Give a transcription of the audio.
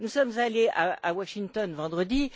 Nous sommes allés à Washington vendredi